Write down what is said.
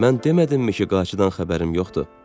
Mən demədimmi ki, qayçıdan xəbərim yoxdur?